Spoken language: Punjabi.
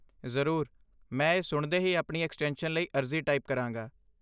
ਜ਼ਰੂਰ, ਮੈਂ ਇਹ ਸੁਣਦੇ ਹੀ ਆਪਣੀ ਐਕਸਟੈਂਸ਼ਨ ਲਈ ਅਰਜ਼ੀ ਟਾਈਪ ਕਰਾਂਗਾ।